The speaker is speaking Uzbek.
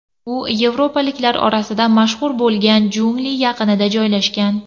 U yevropaliklar orasida mashhur bo‘lgan jungli yaqinida joylashgan.